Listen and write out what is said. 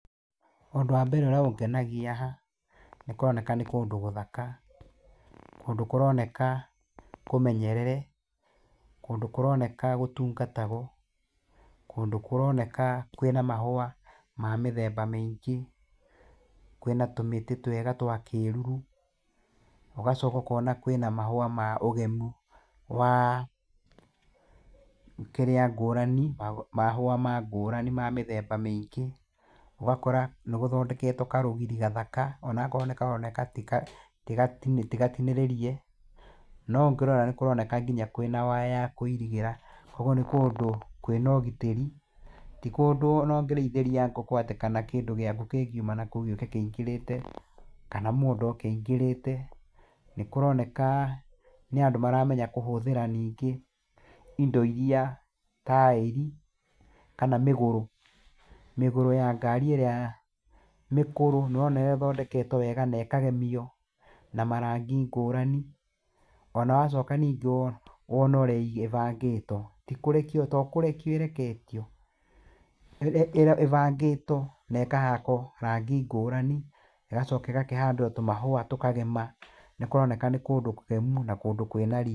Ũndũ wa mbere ũrĩa ũngenagia haha, nĩ kũroneka nĩ kũndũ gũthaka, kũndũ kũroneka kũmenyerere, kũndũ kũroneka gũtungatagwo, kũndũ kũroneka kwĩna mahũwa, ma mĩthemba maingĩ, kwĩna tũmĩtĩ twega twa kĩruru, ũgacoka ũkona kwĩna mahũwa ma ũgemu, wa kĩrĩa ngũrani, mahũwa ma ngũrani mamĩthembe mĩingĩ, ũgakora nĩ gũthondeketwo karũgiri gathaka, onakoro nĩ karoneka tigati tigatinĩrĩrie, no ũngĩrora nĩ kũroneka kwĩna nginya waya ya kũirĩgĩra, koguo nĩ kũndũ kwĩna ũgitĩri, tikũndũ ona ũngĩrĩithĩria ngũkũ kana kĩndũ gĩaku ngĩngiuma nakũu gĩũke kĩingĩrĩte, kana mũndũ oke aingĩrĩte, nĩ kũroneka nĩ andũ maramenya kũhũthĩra ningĩ indo iria taĩri, kana mĩgũrũ, mĩgũrũ ya ngari ĩrĩa mĩkũrũ, nĩ ũrona ũrĩa ĩthondeketwo wega, na ĩkagemio na marangi ngũrani, ona wacoka ningĩ wo wona ũrĩa ĩgĩ ĩbangĩtwo, tikũrekio tokũrekio ĩreketio ĩĩ ĩbangĩtwo na ĩkahakwo rangi ngũrani, ĩgacoka ĩgakĩhandwo tũmahũwa tũkagema, nĩ kũroneka nĩ kũndũ kũgemu na kũndũ kwĩna ri.